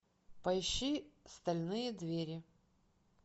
поищи стальные двери